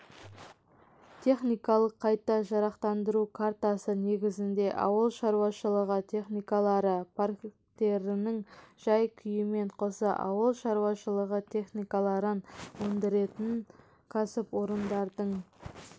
техникалық қайта жарақтандыру картасы негізінде ауыл шаруашылығы техникалары парктерінің жай-күйімен қоса ауыл шаруашылығы техникаларын өндіретін кәсіпорындардың